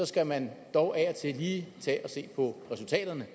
skal man dog af og til lige tage og se på resultaterne